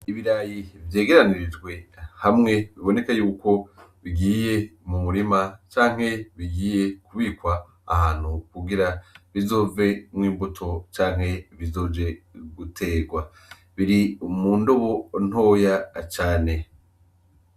Ibirayi vyegeranirijwe hamwe biboneke yuko bigiye mu murima canke bigiye kubikwa ahantu kugira bizovemwo imbuto canke bizoje guterwa biri mu ndubo ntoya cane.